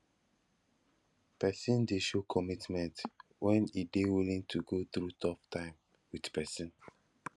persin dey show commitment when e de willing to go through tough time with persin